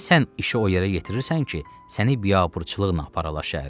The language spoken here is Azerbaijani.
Niyə sən işi o yerə yetirirsən ki, səni biabırçılıqla aparalar şəhərə?